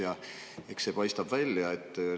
Ja eks see paistab välja.